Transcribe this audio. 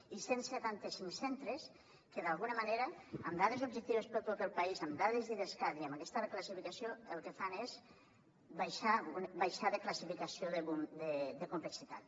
i cent i setanta cinc centres que d’alguna manera amb dades objectives per a tot el país amb dades d’idescat i amb aquesta reclassificació el que fan és baixar de classificació de complexitat